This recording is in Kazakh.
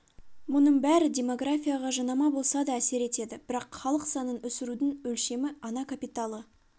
мұның бәрі демографияға жанама болса да әсер етеді бірақ халық санын өсірудің өлшемі ана капиталы